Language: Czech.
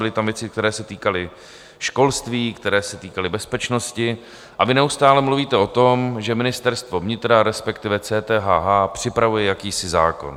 Byly tam věci, které se týkaly školství, které se týkaly bezpečnosti, a vy neustále mluvíte o tom, že Ministerstvo vnitra, respektive CTHH, připravuje jakýsi zákon.